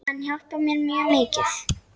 Hann hjálpar mér mjög mikið.